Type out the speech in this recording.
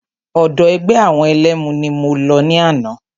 Ọ̀dọ̀ ẹgbẹ́ àwọn ẹlẹ́mu ni mo lọ ní àná.